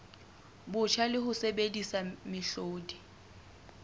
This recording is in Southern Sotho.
botjha le ho sebedisa mehlodi